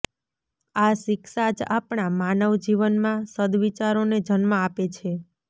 આ શિક્ષા જ આપણા માનવ જીવનમાં સદવિચારોને જન્મ આપે છે